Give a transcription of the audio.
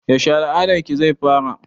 Yaushe al'adar ki zai fara?